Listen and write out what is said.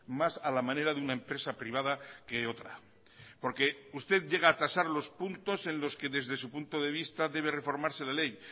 más a la manera de una empresa privada que otra porque usted llega a tasar los puntos en los que desde su punto de vista debe reformarse la ley